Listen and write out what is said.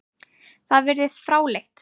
Það virðist fráleitt.